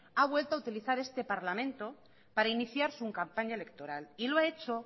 a vuelto a utilizar este parlamento para iniciar su campaña electoral y lo ha hecho